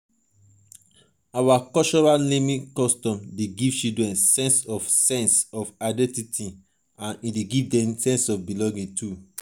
our cultural naming custom dey give children sense of sense of identity and belonging.